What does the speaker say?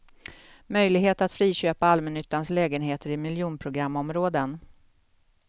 Möjlighet att friköpa allmännyttans lägenheter i miljonprogramområden.